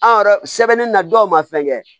An yɛrɛ sɛbɛnnen na dɔw ma fɛn kɛ